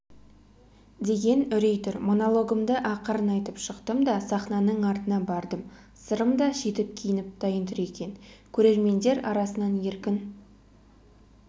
деген үрей тұр монологымды ақырын айтып шықтым да сахнаның артына бардым сырым да жетіп киініп дайын тұр екен көрермендер арасынан еркін